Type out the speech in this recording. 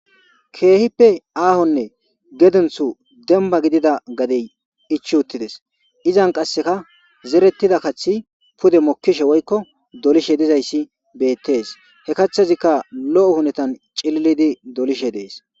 Keehippe aahonne gedenthu demba gidida gadey ich uttides izan qasseka zerettida kathi pude mokkishe woykko dolishe dizayssi beettees he kaththazikka lo7o hunetan cililidi dolishe dees.